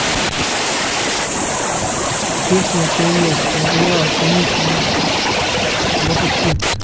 честное пионерское ура каникулы запусти